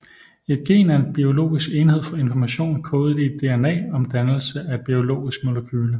Et gen er en biologisk enhed for information kodet i DNA om dannelse af et biologisk molekyle